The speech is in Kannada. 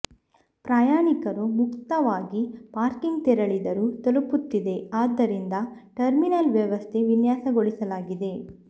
ಪ್ರಯಾಣಿಕರು ಮುಕ್ತವಾಗಿ ಪಾರ್ಕಿಂಗ್ ತೆರಳಿದರು ತಲುಪುತ್ತಿದೆ ಆದ್ದರಿಂದ ಟರ್ಮಿನಲ್ ವ್ಯವಸ್ಥೆ ವಿನ್ಯಾಸಗೊಳಿಸಲಾಗಿದೆ